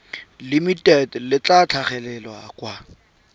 limited le tla tlhagelela kwa